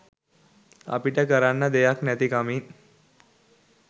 අපිට කරන්න දෙයක් නැති කමින්.